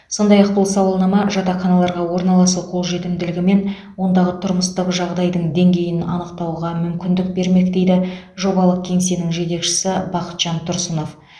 сондай ақ бұл сауалнама жатақханаларға орналасу қолжетімділігі мен ондағы тұрмыстық жағдайдың деңгейін анықтауға мүмкіндік бермек дейді жобалық кеңсенің жетекшісі бақытжан тұрсынов